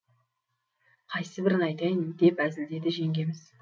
қайсыбірін айтайын деп әзілдеді жеңгеміз